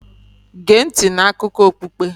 Gee ntị n'akụkọ okpukpe.